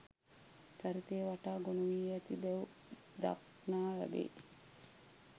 චරිතය වටා ගොනුවී ඇති බැව් දක්නා ලැබේ